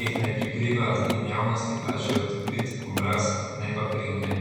teh ne prikriva in javnosti kaže odkrit obraz, ne pa krinke.